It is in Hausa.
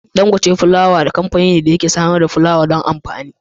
Dangote Flour Mills kamfani ne da yake samar da fulawa don amfani.